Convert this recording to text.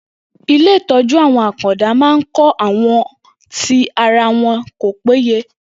Ilé ìtọ́jú àwọn àkàndá ma ń kọ́ àwọn tì ara wọn kò péye.